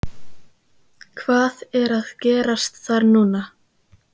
Hvað er að gerast þar núna?